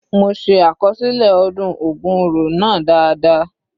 Mo se àkọsílẹ ọdún ògun oro náà dáadáa.